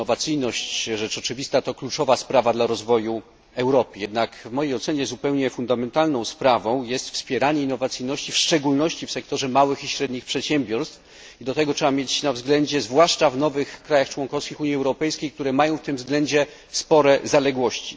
Innowacyjność, rzecz oczywista, to kluczowa sprawa dla rozwoju Europy. Jednak w mojej ocenie zupełnie fundamentalną sprawą jest wspieranie innowacyjności w szczególności w sektorze małych i średnich przedsiębiorstw, zwłaszcza w nowych państwach członkowskich Unii Europejskiej, które mają w tym względzie spore zaległości.